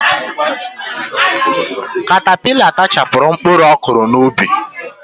Katapila tachapụrụ mkpụrụ ọ kụrụ n'ubi.